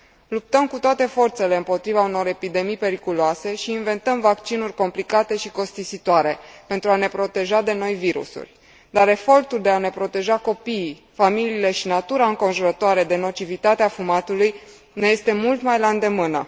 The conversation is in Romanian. Luptăm cu toate forțele împotriva unor epidemii periculoase și inventăm vaccinuri complicate și costisitoare pentru a ne proteja de noi virusuri, dar efortul de a ne proteja copiii, familiile și natura înconjurătoare de nocivitatea fumatului ne este mult mai la îndemână.